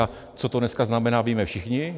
A co to dneska znamená, víme všichni.